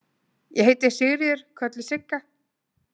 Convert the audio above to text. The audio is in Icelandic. Ég heiti Sigríður, kölluð Sigga